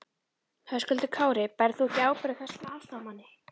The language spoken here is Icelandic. Höskuldur Kári: Berð þú ekki ábyrgð á þessum aðstoðarmanni?